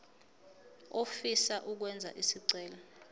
ofisa ukwenza isicelo